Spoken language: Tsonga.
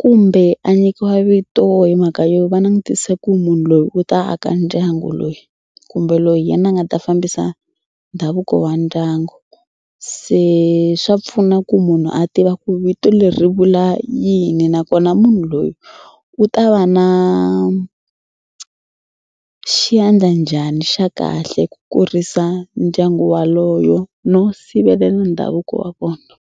kumbe a nyikiwa vito hi mhaka yo va langutise ku munhu loyi u ta aka ndyangu loyi kumbe loyi hi yena a nga ta fambisa ndhavuko wa ndyangu. Se swa pfuna ku munhu a tiva ku vito leri vula yini nakona munhu loyi u ta va na xandla njhani xa kahle ku kurisa ndyangu waloyo no sivelela ndhavuko wa vona.